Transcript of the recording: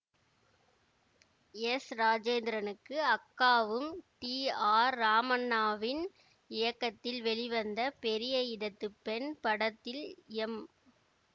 S ராஜேந்திரனுக்கு அக்காவும் T R ராமண்ணாவின் இயக்கத்தில் வெளிவந்த பெரிய இடத்துப் பெண் படத்தில் எம்